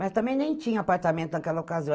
Mas também nem tinha apartamento naquela ocasião.